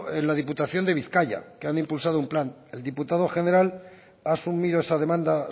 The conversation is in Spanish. en la diputación de bizkaia que han impulsado un plan el diputado general ha asumido esa demanda